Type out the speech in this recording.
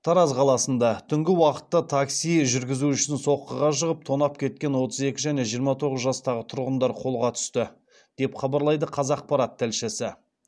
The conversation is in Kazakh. тараз қаласында түнгі уақытта такси жүргізушісін соққыға жығып тонап кеткен отыз екі және жиырма тоғыз жастағы тұрғындар қолға түсті деп хабарлайды қазақпарат тілшісі